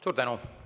Suur tänu!